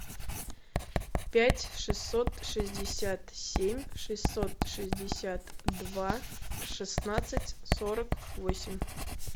пять шестьсот шестьдесят семь шестьсот шестьдесят два шестнадцать сорок восемь